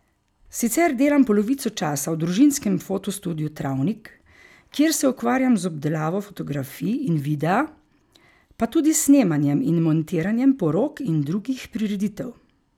Sicer delam polovico časa v družinskem fotostudiu Travnik, kjer se ukvarjam z obdelavo fotografij in videa, pa tudi s snemanjem in montiranjem porok in drugih prireditev.